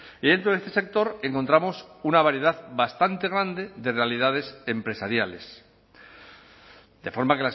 y dentro de este sector encontramos una variedad bastante grande de realidades empresariales de forma